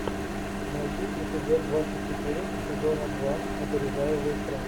найти эпизод двадцать четыре сезона два опережая выстрел